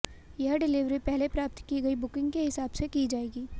यह डिलीवरी पहले प्राप्त की गई बुकिंग के हिसाब से की जाएगी